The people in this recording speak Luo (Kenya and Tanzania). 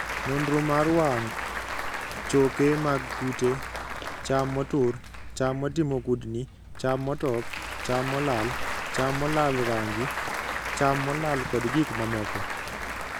Nonro mar wang': choke mag kute, cham motur, cham motimo kudni, cham motop, cham molal, cham molal rangi, cham molal kod gik mamoko.